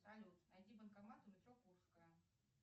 салют найди банкомат у метро курская